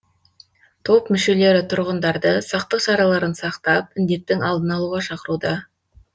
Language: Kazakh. топ мүшелері тұрғындарды сақтық шараларын сақтап індеттің алдын алуға шақыруда